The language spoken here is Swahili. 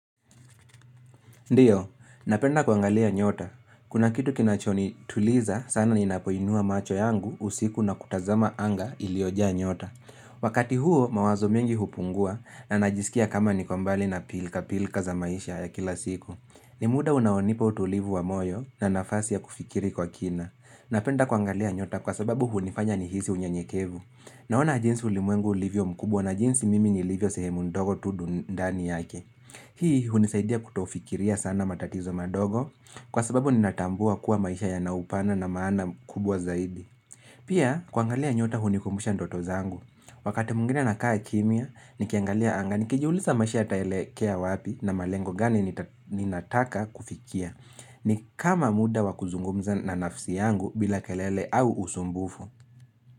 Ndio, napenda kuangalia nyota. Kuna kitu kinachonituliza sana ninapoinua macho yangu usiku na kutazama anga iliyojaa nyota. Wakati huo, mawazo mengi hupungua na najisikia kama niko mbali na pilkapilka za maisha ya kila siku. Ni muda unaonipa utulivu wa moyo na nafasi ya kufikiri kwa kina. Napenda kuangalia nyota kwa sababu hunifanya nihisi unyenyekevu. Naona jinsi ulimwengu ulivyo mkubwa na jinsi mimi nilivyo sehemu ndogo tu ndani yake. Hii hunisaidia kutofikiria sana matatizo madogo kwa sababu ninatambua kuwa maisha yana upana na maana kubwa zaidi. Pia kuangalia nyota hunikumbusha ndoto zangu. Wakati mwingine na kaa kimya, nikiangalia angani, nikijuliza maisha yataelekea wapi na malengo gani ninataka kufikia. Ni kama muda wa kuzungumza na nafsi yangu bila kelele au usumbufu.